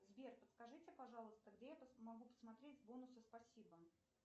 сбер подскажите пожалуйста где я могу посмотреть бонусы спасибо